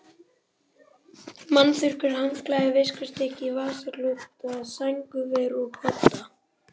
Munnþurrkur, handklæði, viskustykki, vasaklúta, sængurver og kodda.